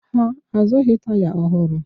Ha azụghị taya ọhụrụ